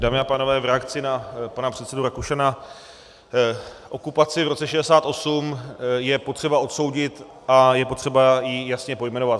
Dámy a pánové, v reakci na pana předsedu Rakušana - okupaci v roce 1968 je potřeba odsoudit a je potřeba ji jasně pojmenovat.